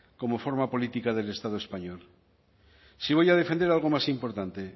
como forma política del estado español sí voy a defender algo más importante